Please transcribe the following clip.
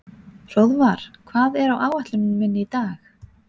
Hróðvar, hvað er á áætluninni minni í dag?